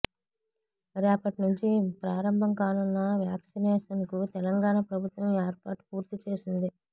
రేపట్నుంచి ప్రారంభం కానున్న వ్యక్సినేషన్కు తెలంగాణ ప్రభుత్వం ఏర్పాట్లు పూర్తి చేసింది